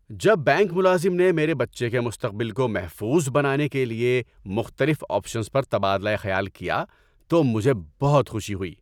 جب بینک ملازم نے میرے بچے کے مستقبل کو محفوظ بنانے کے لیے مختلف آپشنز پر تبادلہ خیال کیا تو مجھے بہت خوشی ہوئی۔